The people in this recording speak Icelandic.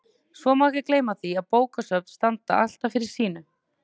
Svo má ekki gleyma því að bókasöfn standa alltaf fyrir sínu.